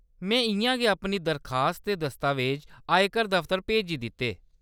में इʼयां गै अपनी दरखास्त ते दस्तावेज़ आयकर दफतर भेजी दित्ते।